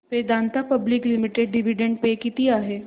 Vedanta public limited dividend pay किती आहे